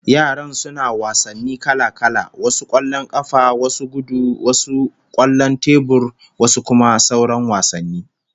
Yaran suna wasanni kala-kala, wasu kwallon kafa, wasu gudu, wasu kwallon tebur, wasu kuma sauran wasanni